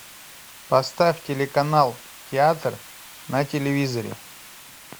поставь телеканал театр на телевизоре